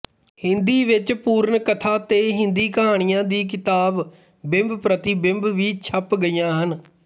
ਹਿੰਦੀ ਵਿੱਚ ਪੂਰਨ ਕਥਾ ਤੇ ਹਿੰਦੀ ਕਹਾਣੀਆਂ ਦੀ ਕਿਤਾਬ ਬਿੰਬਪ੍ਰਤੀਬਿੰਬ ਵੀ ਛਪ ਗਈਆਂ ਹਨ